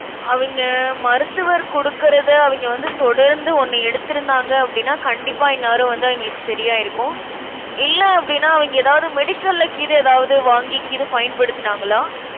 அவிங்க, மருத்துவர் குடுக்கிறதை அவிங்க வந்து தொடர்ந்து ஒண்ணு எடுத்திருந்தாங்க அப்படின்னா கண்டிப்பா இந்நேரம் வந்து அவிங்களுக்கு சரியாயிருக்கும். இல்ல அப்படின்னா அவிங்க ஏதாவது medical ல கீது எதாவது வாங்கி கீது பயன்படுத்துனாங்களா